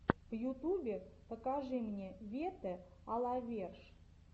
в ютубе покажи мне вете а ла верш